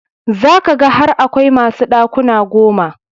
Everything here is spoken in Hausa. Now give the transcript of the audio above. Za ka ga har akwai masu ɗakuna goma.